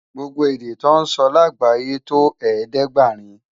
Gbógbó èdè tò nsò lágbáyé tó ẹ̀ẹ́dẹ́ɡbarin